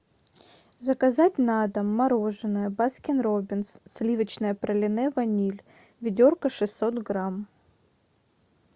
заказать на дом мороженое баскин роббинс сливочное пралине ваниль ведерко шестьсот грамм